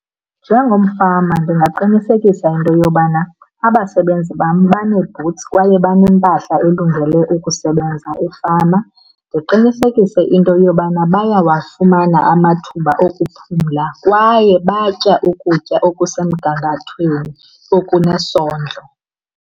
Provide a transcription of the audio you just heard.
Njengomfama ndingaqinisekisa into yobana abasebenzi bam banee-boots kwaye banempahla elungele ukusebenza efama. Ndiqinisekise into yobana bayawafumana amathuba okuphumla kwaye batya ukutya okusemgangathweni, okunesondlo.